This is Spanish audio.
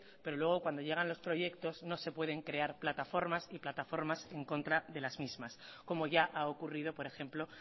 pero luego cuando llegan los proyectos no se pueden crear plataformas y plataformas en contra de las mismas como ya ha ocurrido por ejemplo